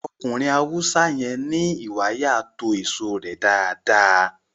Ọkùnrin Haúsá yẹn ní ìwàyà to èso rẹ dáadáa